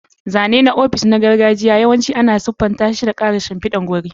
Zane na ofis na gargajiya yawanci ana siffanta shi da ƙarin shimfidar wuri.